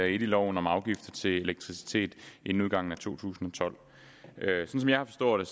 i lov om afgift til elektricitet inden udgangen af to tusind og tolv